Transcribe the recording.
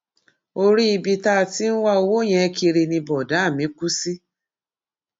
orí ibi tá a ti ń wá owó yẹn kiri ni bọdà mi kù sí